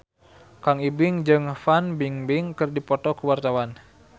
Kang Ibing jeung Fan Bingbing keur dipoto ku wartawan